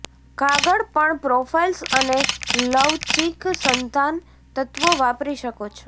કાગળ પણ પ્રોફાઇલ્સ અને લવચીક સંઘાન તત્વો વાપરી શકો છો